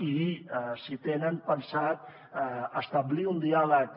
i si tenen pensat establir un diàleg